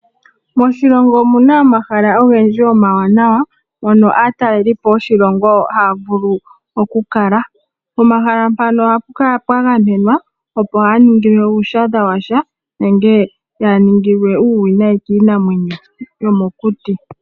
Moshilongo omuna omahala ogendji oma wanawa mono aatalelipo yoshilongo haya vulu okukala. Pomahala mpano ohapu kala pwa gamenwa opo kaya ningilwe uuwinayi kiinamwenyo yomokuti.